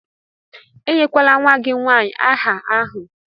Enyekwala nwa gị nwanyị áhà ahụ!